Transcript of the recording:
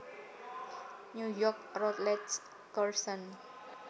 New York Routledge Curzon